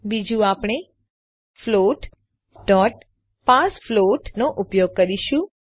બીજું આપણે floatપાર્સફ્લોટ નો ઉપયોગ કરીશું